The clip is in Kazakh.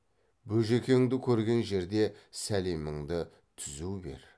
бөжекеңді көрген жерде сәлеміңді түзу бер